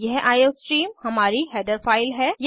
यह आईओस्ट्रीम हमारी header file है